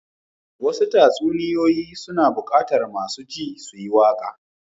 Wasu tatsuniya suna bukatar masu ji su yi waka.